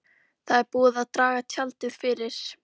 Það er búið að draga tjaldið fyrir.